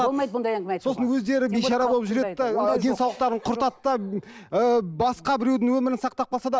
болмайды бұндай әңгіме айтуға сосын өздері бейшара болып жүреді де денсаулықтарын құртады да ііі басқа біреудің өмірін сақтап қалса да